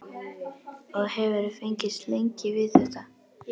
Og hefurðu fengist lengi við þetta?